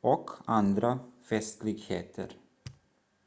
och andra festligheter